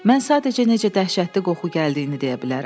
Mən sadəcə necə dəhşətli qoxu gəldiyini deyə bilərəm.